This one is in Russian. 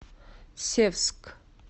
севск